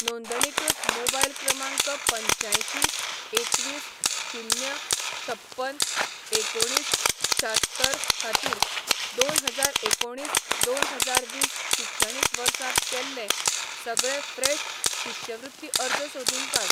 नोंदणीकृत मोबायल क्रमांक पंच्यांयशीं एकवीस शून्य छप्पन एकुणीस शात्तर खातीर, दोन हजार एकुणीस दोन हजार वीस शिक्षणीक वर्सांत केल्ले सगळे फ्रेश शिश्यवृत्ती अर्ज सोदून काड.